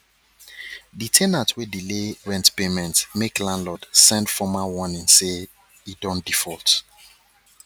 de ten ant wey delay rent payment make landlord send formal warning say e don default